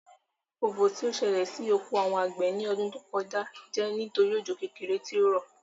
Ofò tí ó sẹlẹ̀ sí oko àwọn àgbẹ̀ ní ọdún tó kọjá jẹ́ nítorí òjò kékeré tí ó rọ̀